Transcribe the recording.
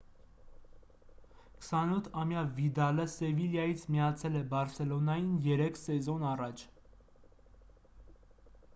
28-ամյա վիդալը սևիլյայից միացել է բարսելոնային երեք սեզոն առաջ